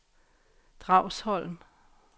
Dragsholm